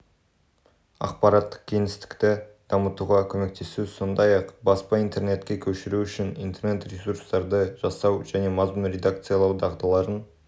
ақпараттық кеңістікті дамытуға көмектесу сондай-ақ баспа интернетке көшіру үшін интернет-ресурстарды жасау және мазмұн редакциялау дағдыларын